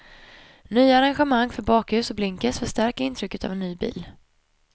Nya arrangemang för bakljus och blinkers förstärker intrycket av ny bil.